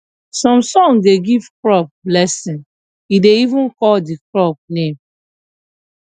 some song da give crop blessing e da even call the crop name